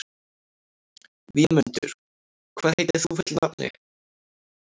Vémundur, hvað heitir þú fullu nafni?